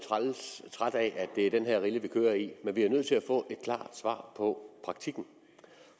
træt af at det er den rille vi kører i men vi er nødt til at få et klart svar på praktikken